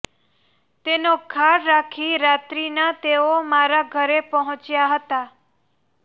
તેનો ખાર રાખી રાત્રીના તેઓ મારા ઘરે પહોંચ્યા હતાં